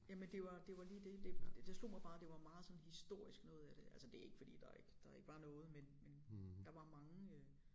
Jamen det var det var lige det det slog mig bare det var meget sådan historisk noget af det altså det ikke fordi der ikke der ikke var noget men men der var mange øh